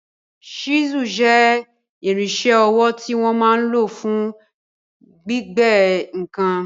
Ṣísùl jẹ́ irinṣẹ́ ọwọ́ tí wọ́n máa n lò fún gbígbẹ́ ǹkan